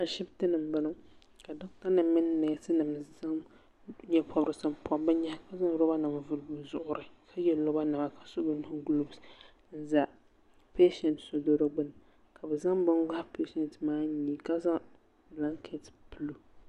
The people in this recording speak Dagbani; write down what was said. ashɛtɛni n bɔŋɔ ka nɛsinim zaɣ nyɛporisi pobi be nyɛhi ka zaŋ lobanim pobi bɛzuɣiri lobanim chiboli golopɛ pɛshɛnsi n doya ka be zaŋ bɛni gohi ka zaŋ bɛlaŋkɛtɛ pɛlo